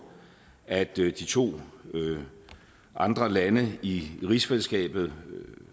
at de to andre lande i rigsfællesskabet